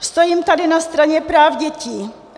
Stojím tady na straně práv dětí.